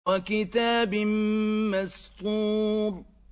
وَكِتَابٍ مَّسْطُورٍ